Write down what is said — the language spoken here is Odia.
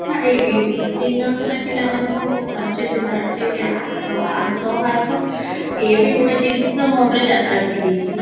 ମୁଁ ଦିନ ସାରା ପିଲାମାନଙ୍କୁ ଆସ ଆସ ଆସ ଏ ବି ଗୋଟେ ଜିନଷ ମୋ ଉପରେ ଯାତ୍ରା ପଡି ଯାଇଚି